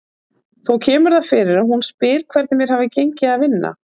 Þó kemur það fyrir að hún spyr hvernig mér hafi gengið að vinna.